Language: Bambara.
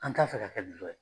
An t'a fɛ ka kɛ yɛ.